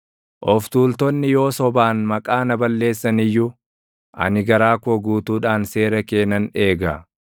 Of tuultonni yoo sobaan maqaa na balleessan iyyuu, ani garaa koo guutuudhaan seera kee nan eega.